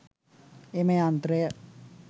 එම යන්ත්‍රය